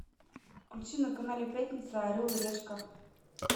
включи на канале пятница орел и решка